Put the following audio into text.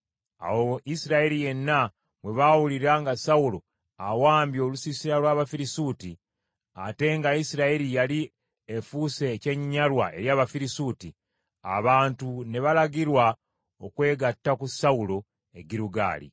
Awo Isirayiri yenna bwe baawulira nga Sawulo awambye olusiisira lw’Abafirisuuti, ate nga Isirayiri yali efuuse ekyenyinyalwa eri Abafirisuuti, abantu ne balagirwa okwegatta ku Sawulo e Girugaali.